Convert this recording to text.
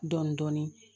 Dɔɔnin-dɔɔnin